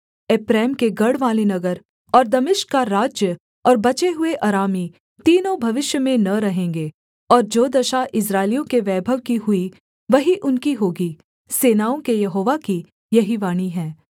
एप्रैम के गढ़वाले नगर और दमिश्क का राज्य और बचे हुए अरामी तीनों भविष्य में न रहेंगे और जो दशा इस्राएलियों के वैभव की हुई वही उनकी होगी सेनाओं के यहोवा की यही वाणी है